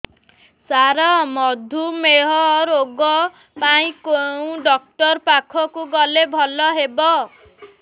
ସାର ମଧୁମେହ ରୋଗ ପାଇଁ କେଉଁ ଡକ୍ଟର ପାଖକୁ ଗଲେ ଭଲ ହେବ